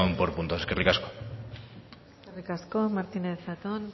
por puntos eskerrik asko eskerrik asko martínez zatón